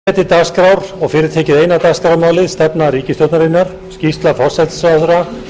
gengið er til dagskrár og fyrir tekið eina dagskrármálið stefna ríkisstjórnarinnar skýrsla forsætisráðherra